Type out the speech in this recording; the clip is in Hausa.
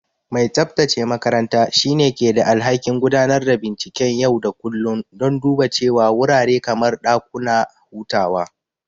Mai tsabtace makaranta shine ke da alhakin gudanar da binciken yau da kullun don duba cewa wurare kamar dakuna hutawa.